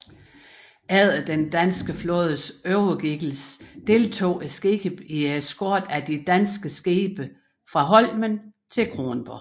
Efter den danske flådes overgivelse deltog skibet i eskorten af de danske skibe fra Holmen til Kronborg